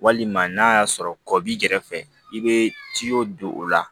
Walima n'a y'a sɔrɔ kɔ b'i kɛrɛfɛ i bɛ don o la